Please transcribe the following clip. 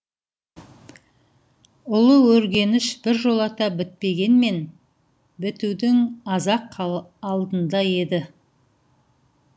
ұлы өргеніш біржолата бітпегенмен бітудің аз ақ алдында еді